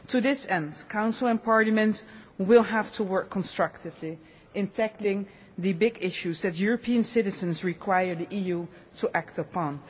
To this end, Council and Parliament will have to work constructively in tackling the big issues that European citizens require the EU to act upon.